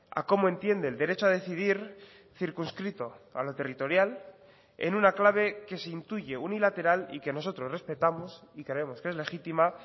a cómo entiende el derecho a decidir circunscrito a lo territorial en una clave que se intuye unilateral y que nosotros respetamos y creemos que es legítima